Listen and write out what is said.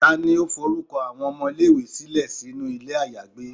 tani o forukọ awọn ọmọ ile-iwe silẹ sinu ilé ayagbé?